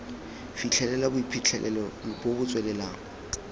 fitlhelela boiphitlhelelo bo bo tswelelang